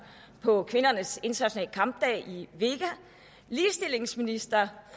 på kvindernes internationale kampdag i vega ligestillingsministeren